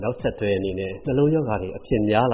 နောက်ဆက်တွဲဖြစ်တဲ့ နှလုံးရောဂါအဖြစ်များလ